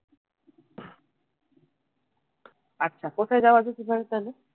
আচ্ছা কোথায় যাওয়া যেতে পারে তাইলে